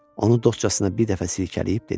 Onu dostcasına bir dəfə silkələyib dedi: